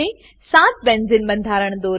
સાત બેન્ઝેને બેન્ઝીન બંધારણો દોરો